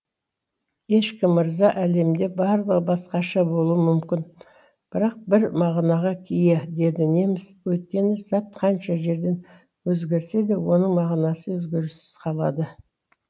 ешкім мырза әлемде барлығы басқаша болуы мүмкін бірақ бір мағынаға ие дейді неміс өйткені зат қанша жерден өзгерсе де оның мағынасы өзгеріссіз қалады